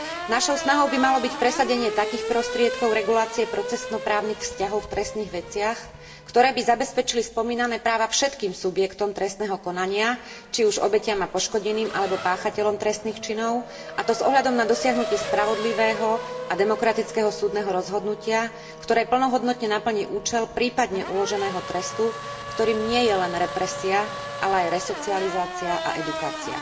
Našou snahou by malo byť presadenie takých prostriedkov regulácie procesno právnych vzťahov v trestných veciach, ktoré by zabezpečili spomínané práva všetkým subjektom trestného konania, či už obetiam a poškodeným alebo páchateľom trestných činov, a to s ohľadom na dosiahnutie spravodlivého a demokratického súdneho rozhodnutia, ktoré plnohodnotne naplní účel, prípadne uloženého trestu, ktorým nie je len represia, ale aj resocializácia a edukácia.